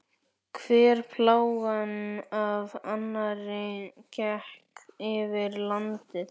Hver plágan af annarri gekk yfir landið.